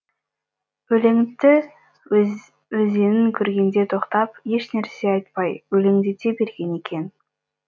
өлеңті өзенін көргенде тоқтап ешнәрсе айтпай өлеңдете берген екен